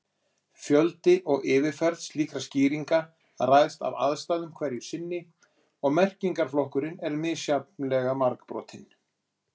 Fjöldi og fyrirferð slíkra skýringa ræðst af aðstæðum hverju sinni og merkingarflokkunin er misjafnlega margbrotin.